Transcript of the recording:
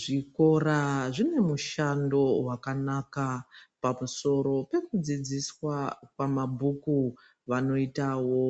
Zvikora zvine mushando wakanaka pamusoro pekudzidziswa kwamabhuku vanoitawo